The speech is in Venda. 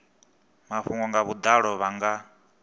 mafhungo nga vhudalo vha nga